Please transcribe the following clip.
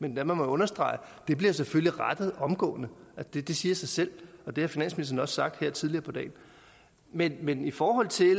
men lad mig understrege det bliver selvfølgelig rettet omgående det siger sig selv og det har finansministeren også sagt her tidligere på dagen men men i forhold til